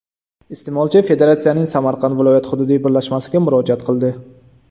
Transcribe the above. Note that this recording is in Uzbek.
Iste’molchi federatsiyaning Samarqand viloyat hududiy birlashmasiga murojaat qildi.